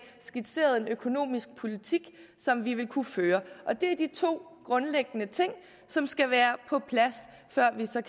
skitseret en økonomisk politik som vi vil kunne føre det er de to grundlæggende ting som skal være på plads før vi så